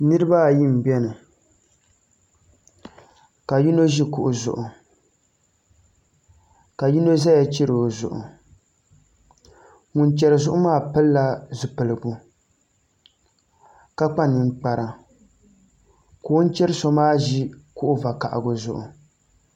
Niraba ayi n biɛni ka yino ʒi kuɣu zuɣu ka yino ʒɛya chɛri o zuɣu ŋun chɛri zuɣu maa pilila zipiligu ka kpa ninkpara ka o ni chɛri so maa ʒi kuɣu vakaɣali zuɣu